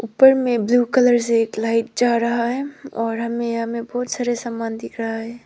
ऊपर में blue colour से एक लाइट जा रहा है और हमें यहां में बहुत सारे सामान दिख रहा है।